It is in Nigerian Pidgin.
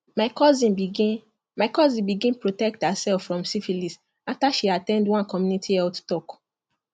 my cousin begin my cousin begin protect herself from syphilis after she at ten d one community health talk